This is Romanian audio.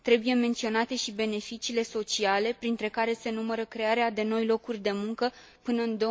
Trebuie menționate și beneficiile sociale, printre care se numără crearea de noi locuri de muncă până în